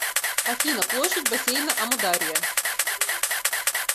афина площадь бассейна амударья